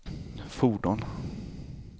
fordon